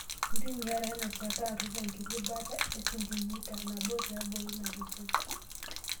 Ntumia ina shata aturr enkiti baata e sentimita nabo tiabori ina gosoi.